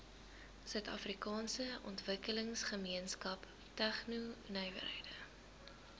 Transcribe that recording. suidafrikaanse ontwikkelingsgemeenskap tegnonywerhede